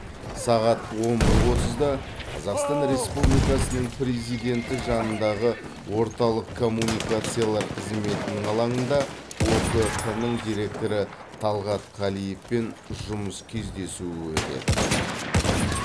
сағат он бір отызда қазақстан республикасының президенті жанындағы орталық коммуникациялар қызметінің алаңында окқ нің директоры талғат қалиевпен жұмыс кездесуі өтеді